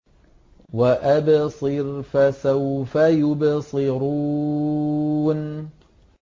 وَأَبْصِرْ فَسَوْفَ يُبْصِرُونَ